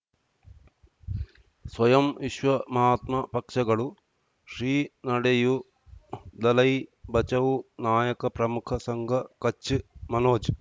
ಸ್ವಯಂ ವಿಶ್ವ ಮಹಾತ್ಮ ಪಕ್ಷಗಳು ಶ್ರೀ ನಡೆಯೂ ದಲೈ ಬಚೌ ನಾಯಕ ಪ್ರಮುಖ ಸಂಘ ಕಚ್ ಮನೋಜ್